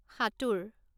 সাতোঁৰ